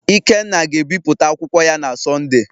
ikenna ga-ebipụta akwụkwọ ya na Sọnde